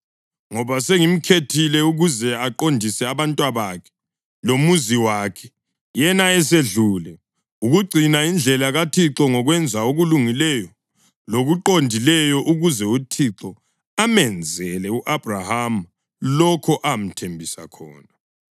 Ngoba sengimkhethile, ukuze aqondise abantwabakhe lomuzi wakhe, yena esedlule, ukugcina indlela kaThixo ngokwenza okulungileyo lokuqondileyo, ukuze uThixo amenzele u-Abhrahama lokho amthembise khona.”